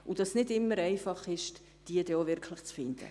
Es ist nicht immer einfach, diese wirklich zu finden.